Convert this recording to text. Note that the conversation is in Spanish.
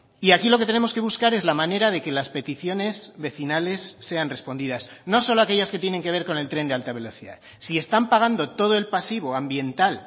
y aquí lo que tenemos que buscar es la manera de que las peticiones vecinales sean respondidas no solo aquellas que tienen que ver con el tren de alta velocidad si están pagando todo el pasivo ambiental